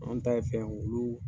Mɔgɔ min ta ye fɛn ye oluuu